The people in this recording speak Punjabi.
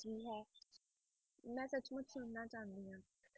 ਕੀ ਹੈ ਮੈਂ ਸੱਚਮੁੱਚ ਸੁਣਨਾ ਚਾਹੁੰਦੀ ਹਾਂ।